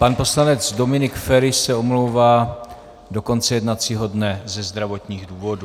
Pan poslanec Dominik Feri se omlouvá do konce jednacího dne ze zdravotních důvodů.